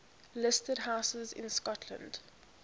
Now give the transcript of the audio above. listed houses in scotland